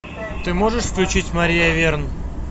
ты можешь включить мария верн